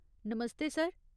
नमस्ते sir !